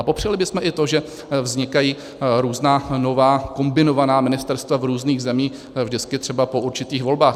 A popřeli bychom i to, že vznikají různá nová, kombinovaná ministerstva v různých zemích vždycky třeba po určitých volbách.